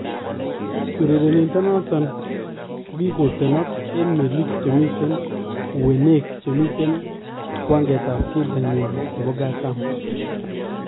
Urerenindet noton kokikootenak en meliik chemiten ewuneek chemiten kwaankeetab keldoo nyin nebo kataam